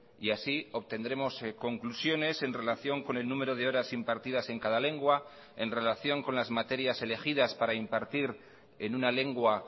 y así obtendremos conclusiones en relación con el número de horas impartidas en cada lengua en relación con las materias elegidas para impartir en una lengua